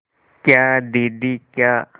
क्या दीदी क्या